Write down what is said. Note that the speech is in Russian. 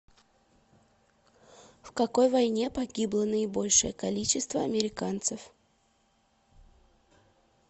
в какой войне погибло наибольшее количество американцев